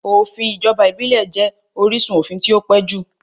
Òfin ìjọba ìbílẹ̀ jẹ́ orísun òfin tí ó pẹ́ jù